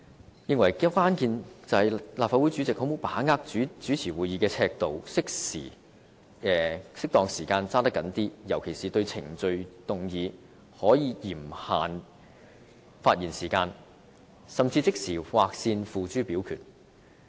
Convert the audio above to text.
他認為關鍵是立法會主席能否把握好主持會議的尺度、適當時候抓緊一些，尤其是對程序議案可嚴限發言時間，甚至即時劃線付諸表決。